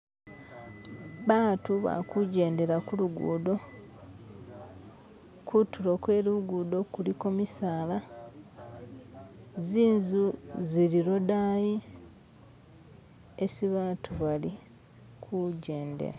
bantu bakujendela kulugundo, kutulo kwelugudo kuliko misaala, zizu zili lodayi esi bantu bali kujendela